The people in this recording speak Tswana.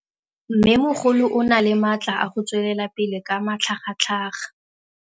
Mmêmogolo o na le matla a go tswelela pele ka matlhagatlhaga.